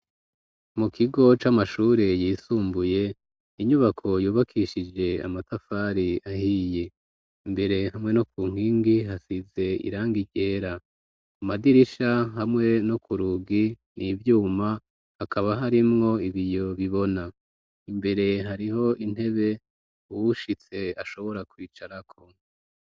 Mu kigo c'amashure yisumbuye, inyubako yubakishije amatafari ahiye. Imbere hamwe no ku nkingi hasize irangi ryera. Ku madirisha hamwe no ku rugi n'ivyuma, hakaba harimwo ibiyo bibona. Imbere hariho intebe uwushitse ashobora kwicarako.